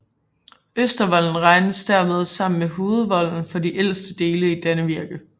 Østervolden regnes dermed sammen med hovedvolden for de ældste dele i Dannevirke